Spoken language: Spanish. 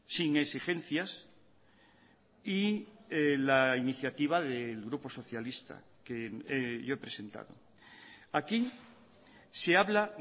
sin exigencias y la iniciativa del grupo socialista que yo he presentado aquí se habla